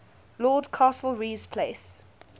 lord castlereagh's place